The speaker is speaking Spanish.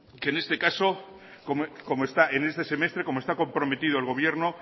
que en este caso como está en este semestre como está comprometido el gobierno